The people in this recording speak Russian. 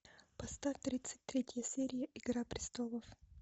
поставь тридцать третью серию игра престолов